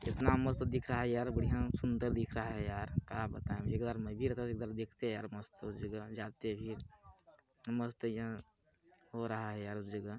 इतना मस्त दिख रहा है यार बढिया सुंदर दिख रहा है यार का बताए एक बार में भी रहता तो एक बार देखते यार मस्त उस जगह जाते भी मस्त या हो रहा है यार उस जगह--